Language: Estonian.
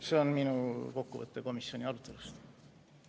See on minu kokkuvõte komisjoni arutelust.